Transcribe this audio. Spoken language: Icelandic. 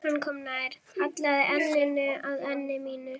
Hann kom nær, hallaði enninu að enni mínu.